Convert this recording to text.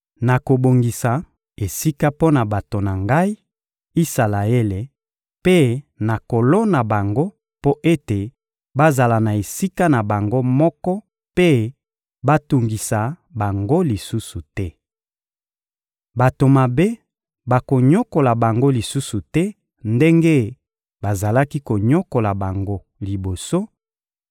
Nakobongisa esika mpo na bato na Ngai, Isalaele, mpe nakolona bango mpo ete bazala na esika na bango moko mpe batungisa bango lisusu te. Bato mabe bakonyokola bango lisusu te ndenge bazalaki konyokola bango liboso;